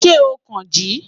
Ṣe o kan ji?